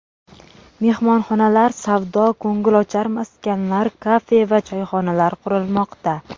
Mehmonxonalar, savdo-ko‘ngilochar maskanlar, kafe va choyxonalar qurilmoqda.